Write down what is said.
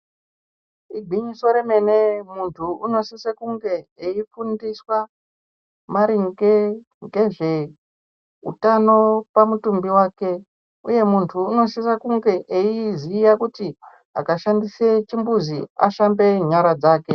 Igwinyiso remene muntu unosiso kunge eifundiswa maringe ngezve utano pamutumbi vake, uye muntu unosise kunge eiziya kuti akashandise chimbuzi ashambe nyara dzake.